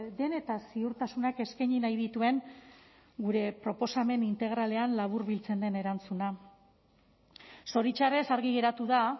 den eta ziurtasunak eskaini nahi dituen gure proposamen integralean laburbiltzen den erantzuna zoritxarrez argi geratu da